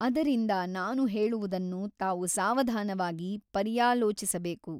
ಅದರಿಂದ ನಾನು ಹೇಳುವುದನ್ನು ತಾವು ಸಾವಧಾನವಾಗಿ ಪರ್ಯಾಲೋಚಿಸಬೇಕು.